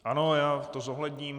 Ano, já to zohledním.